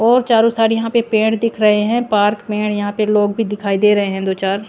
और चारों साइड यहां पे पेंड दिख रहे हैं पार्क पेड़ यहां पे लोग भी दिखाई दे रहे हैं दो चार--